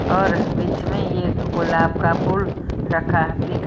और बीच में एक गुलाब का फूल रखा दिख---